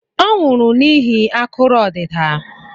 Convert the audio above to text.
Ọ nwụrụ n'ihi akụrụ odida